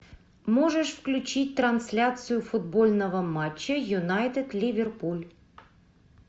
можешь включить трансляцию футбольного матча юнайтед ливерпуль